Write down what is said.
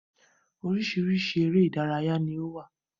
Oríṣiríṣi ère ìdárayá ni ó wà.